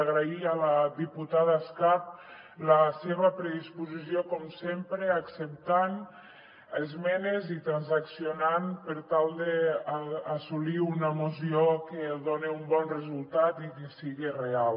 agrair a la diputada escarp la seva predisposició com sempre acceptant esmenes i transaccionant per tal d’assolir una moció que doni un bon resultat i que siga real